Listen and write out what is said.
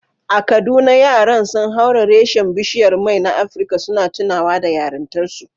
A Kaduna, yaran sun haura rassan bishiyar mai na Afrika, suna tunawa da yarintarsu.